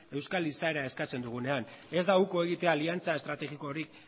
euskal izaera eskatzen dugunean ez da uko egitea aliantza estrategikorik